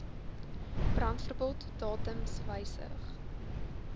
brandverbod datums wysig